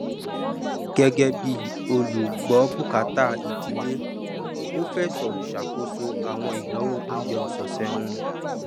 gẹgẹ bí olùgbọbùkátà ìdílé ó fẹsọ ṣàkóso àwọn ìnáwó oúnjẹ ọsọsẹ wọn